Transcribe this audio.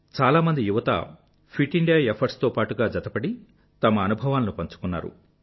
చాలామంది యువత fit India efforts తో పాటుగా జతపడి తమ అనుభవాలను పంచుకున్నారు